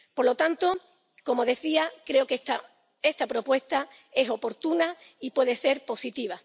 Por lo tanto, como decía, creo que esta propuesta es oportuna y puede ser positiva.